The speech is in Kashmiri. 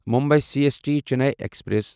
Mumbai C S T Chennai express